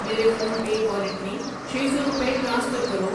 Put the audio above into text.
میرے PhonePe wallet میں چھ سو روپے ٹرانسفر کرو۔